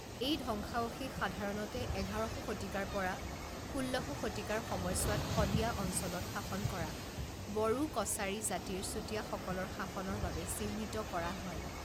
এই ধ্বংসাবশেষ সাধাৰণতে এঘাৰশ শতিকাৰ পৰা ষোল্লশ শতিকাৰ সময়ছোৱাত সদিয়া অঞ্চলত শাসন কৰা বড়ো কচাৰী জাতিৰ চুটিয়াসকলৰ শাসনৰ বাবে চিহ্নিত কৰা হয়।